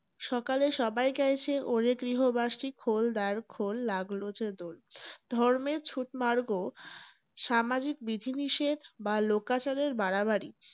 সকালে সবাই গাইছে ওরে গৃহবাসী খোল দ্বার খোল লাগলো যে দোল । ধর্মের ছুঁৎমার্গ, সামাজিক বিধিনিষেধ বা লোকাচারের বাড়াবাড়ি।